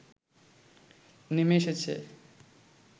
নেমে এসেছে